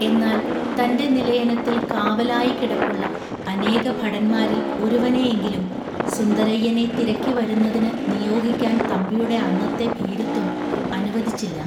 എന്നാൽ തന്റെ നിലയനത്തിൽ കാവലായി കിടപ്പുള്ള അനേകഭടന്മാരിൽ ഒരുവനെയെങ്കിലും സുന്ദരയ്യനെ തിരക്കിവരുന്നതിനു നിയോഗിക്കാൻ തമ്പിയുടെ അന്നത്തെ ഭീരുത്വം അനുവദിച്ചില്ല